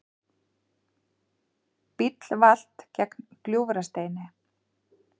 Bíll valt gegnt Gljúfrasteini